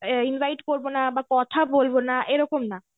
এ invite করব না, কথা বলব না, এরকম না.